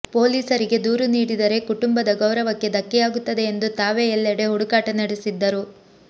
ಪೊಲೀಸರಿಗೆ ದೂರು ನೀಡಿದರೆ ಕುಟುಂಬದ ಗೌರವಕ್ಕೆ ಧಕ್ಕೆಯಾಗುತ್ತದೆ ಎಂದು ತಾವೇ ಎಲ್ಲೆಡೆ ಹುಡುಕಾಟ ನಡೆಸಿದ್ದರು